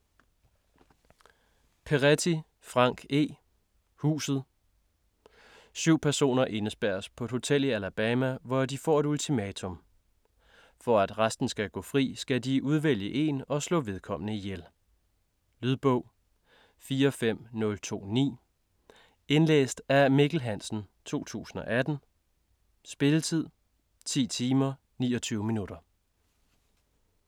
Peretti, Frank E.: Huset Syv personer indespærres på et hotel i Alabama, hvor de får et ultimatum: For at resten skal gå fri, skal de udvælge en og slå vedkommende ihjel. Lydbog 45029 Indlæst af Mikkel Hansen, 2018. Spilletid: 10 timer, 29 minutter.